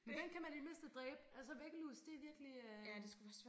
Dem kan man i det mindste dræbe altså væggelus det virkelig øh